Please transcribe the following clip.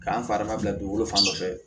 K'an fa ma bila dugukolo fan dɔ fɛ